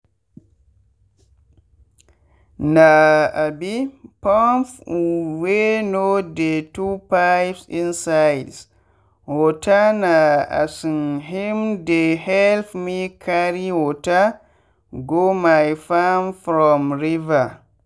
na um pump wey no dey too pipe insids waterna um him dey help me carry water go my farm from river.